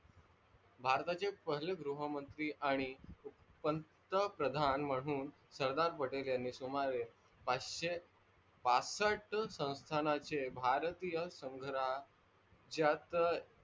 भारताचे पहिले गृह मंत्री आणि पंतप्रदान म्हणून सरदार पटेल यांनी सुमारे पाचसे बासष्ट संस्थांचे भरतिये संग राज्यात